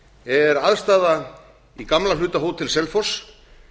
er aðstaða í gamla hluta hótel selfoss